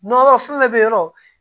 Nɔnɔ fɛn o fɛn bɛ yen nɔ